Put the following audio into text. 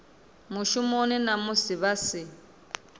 mushumoni na musi vha si